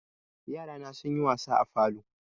Yarana sunyi wasa a falo.